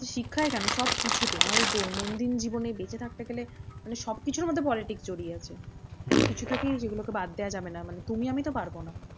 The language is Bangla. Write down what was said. শিক্ষায় কেন সবকিছুতে আমাদের দৈনন্দিন জীবনে বেঁচে থাকতে গেলে মানে সবকিছুর মধ্যে politics জড়িয়ে রয়েছে। কোনোকিছু থেকেই যেগুলোকে বাদ দেওয়া যাবে না মানে তুমি আমি তো পারবো না।